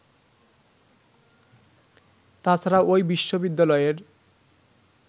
তা ছাড়া ওই বিশ্ববিদ্যালয়ের